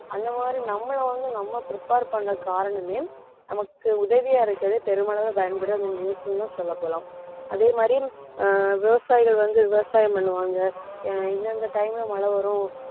அந்த மாதிரி நம்மளை வந்து நம்ம prepare பண்ண காரணமே நமக்கு உதவியா இருக்குறது பெருமளவு பயன்படும் இந்த news ன்னு தான் சொல்லப்போலாம் அதே மாதிரி அஹ் விவசாயிகள் வந்து விவசாயம் பண்ணுவாங்க அஹ் இந்தந்த time ல மழை வரும்